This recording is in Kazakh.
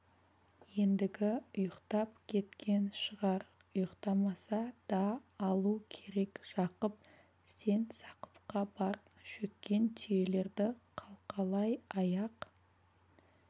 ендігі ұйықтап кеткен шығар ұйықтамаса да алу керек жақып сен сақыпқа бар шөккен түйелерді қалқалай аяқ